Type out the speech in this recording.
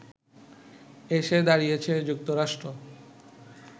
এসে দাঁড়িয়েছে যুক্তরাষ্ট্র